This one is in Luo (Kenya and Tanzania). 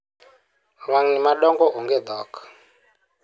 lwang'ni madongo onge dhok